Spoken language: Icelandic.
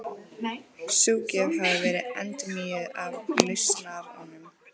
Sú gjöf hafi verið endurnýjuð af Lausnaranum.